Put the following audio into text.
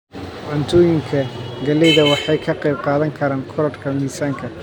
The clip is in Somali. Cuntooyinka galleyda waxay ka qayb qaadan karaan korodhka miisaanka,